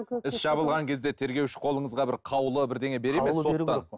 іс жабылған кезде тергеуші қолыңызға бір қаулы бірдеңе береді ме соттан